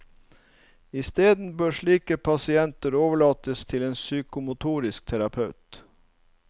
Isteden bør slike pasienter overlates til en psykomotorisk terapeut.